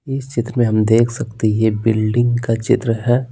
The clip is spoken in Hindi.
इस चित्र में हम देख सकते हैं यह बिल्डिंग का चित्र है।